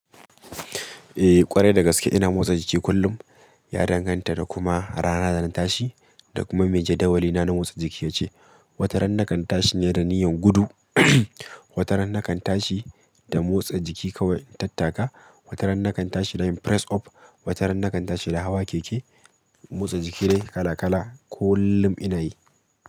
Eh ƙwarai da gaske ina motsa jiki kullum. Ya danganta da kuma rana zan tashi da kuma me jadawalina na motsa jiki yake ce. Wata ran nakan tashi ne da niyyan gudu, wata ran nakan tashi da motsa jiki kawai tattaka, wata ran nakan tashi da yin press up, wata ran nakan tashi da hawa keke. Motsa jiki dai kala kala kullum ina yi.